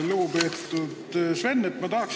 Lugupeetud Sven!